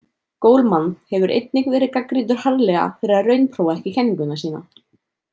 Goleman hefur einnig verið gagnrýndur harðlega fyrir að raunprófa ekki kenninguna sína.